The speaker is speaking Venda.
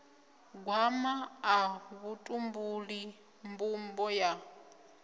gwama ḽa vhutumbuli mbumbo ya